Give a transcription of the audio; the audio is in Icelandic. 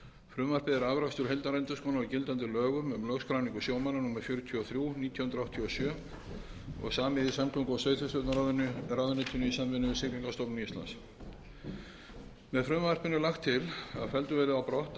frumvarpið er afrakstur heildarendurskoðunar á gildandi lögum um lögskráningu sjómanna númer fjörutíu og þrjú nítján hundruð áttatíu og sjö og samið í samgöngu og sveitarstjórnarráðuneytinu í samvinnu við siglingastofnun íslands með frumvarpinu er lagt til að felldur verði brott annað